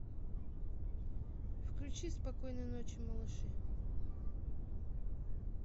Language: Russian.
включи спокойной ночи малыши